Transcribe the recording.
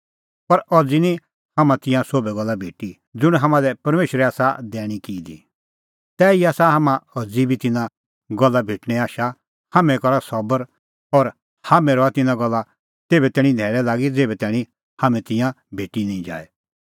पर अज़ी निं हाम्हां तिंयां सोभै गल्ला भेटी ज़ुंण हाम्हां लै परमेशरै आसा दैणीं की दी तैही आसा हाम्हां अज़ी बी तिन्नां गल्ला भेटणें आशा हाम्हैं करा सबर और हाम्हैं रहा तिन्नां गल्ला तेभै तैणीं न्हैल़ै लागी ज़ेभै तैणीं हाम्हां तिंयां भेटी निं जाए